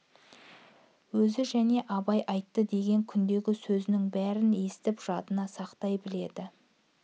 өзі және абай айтты деген күндегі сөзінің бәрін есітіп жадына сақтай біледі